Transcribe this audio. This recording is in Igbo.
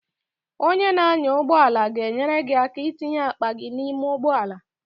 Onye na-anya ụgbọala ga-enyere gị aka itinye akpa gị n'ime ụgbọala.